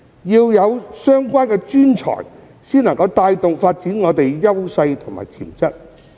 要有相關專才，才能帶動香港發展我們的優勢和潛質。